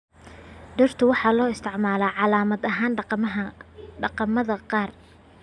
Dhirta waxa loo isticmaalaa calaamad ahaan dhaqamada qaar.